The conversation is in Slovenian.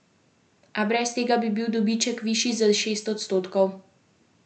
A brez tega bi bil dobiček višji za šest odstotkov.